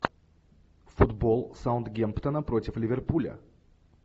футбол саутгемптона против ливерпуля